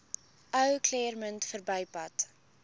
ou claremont verbypad